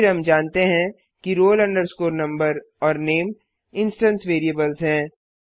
फिर हम जानते हैं कि roll number और नामे इंस्टेंस वेरिएबल्स हैं